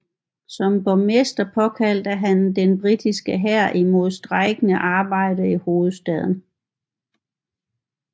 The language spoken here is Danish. Som borgmester påkaldte han den britiske hær imod strejkende arbejdere i hovedstaden